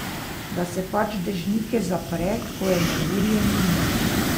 Da se pač dežnike zapre, ko je neurje mimo.